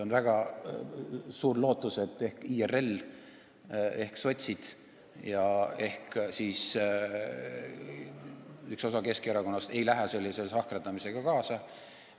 On väga suur lootus, et ehk IRL, sotsid ja üks osa Keskerakonnast ei lähe sellise sahkerdamisega kaasa.